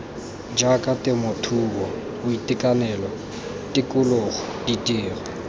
jaaka temothuo boitekanelo tikologo ditiro